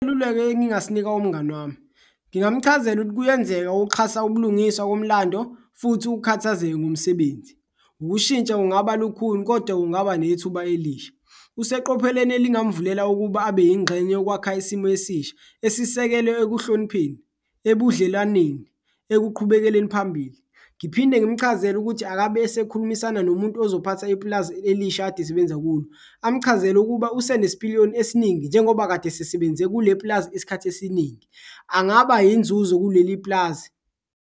Is'luleko engingasinika umngani wami, ngingamchazela kuyenzeka ukuxhasa ubulungiswa komlando futhi ukhathazeke ngomsebenzi, ukushintsha kungaba lukhuni kodwa kungaba nethuba elisha. Useqopheleni elingamvulela ukuba abe yingxenye yokwakha isimo esisha esisekelwe ekuhlonipheni, ebudlelwaneni, ekuqhubekeleni phambili. Ngiphinde ngimchazele ukuthi akabe esekhulumisana nomuntu ozophatha ipulazi elisha akade esebenza kulo, amchazele ukuba usenesipiliyoni esiningi njengoba kade esesebenze kuleli pulazi isikhathi esiningi, angaba yinzuzo kuleli pulazi.